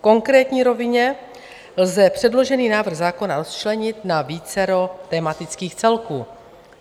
V konkrétní rovině lze předložený návrh zákona rozčlenit na vícero tematických celků.